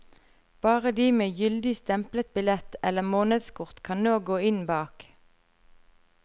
Bare de med gyldig stemplet billett eller månedskort kan nå gå inn bak.